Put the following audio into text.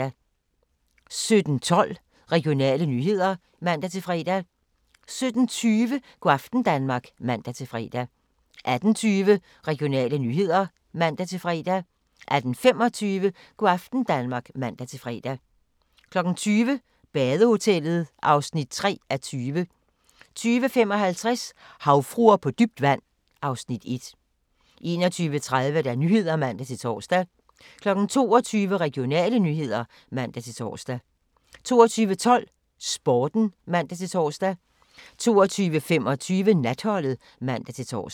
17:12: Regionale nyheder (man-fre) 17:20: Go' aften Danmark (man-fre) 18:20: Regionale nyheder (man-fre) 18:25: Go' aften Danmark (man-fre) 20:00: Badehotellet (3:20) 20:55: Havfruer på dybt vand (Afs. 1) 21:30: Nyhederne (man-tor) 22:00: Regionale nyheder (man-tor) 22:12: Sporten (man-tor) 22:25: Natholdet (man-tor)